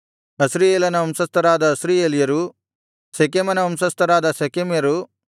ಅಸ್ರೀಯೇಲನ ವಂಶಸ್ಥರಾದ ಅಸ್ರೀಯೇಲ್ಯರು ಶೆಕೆಮನ ವಂಶಸ್ಥರಾದ ಶೆಕೆಮ್ಯರು